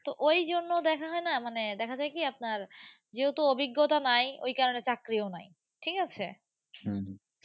তো ওই জন্য দেখা হয়না, মানে দেখা যায় কি আপনার যেহেতু অভিজ্ঞতা নাই, ওই কারণে চাকরিও নাই ঠিক আছে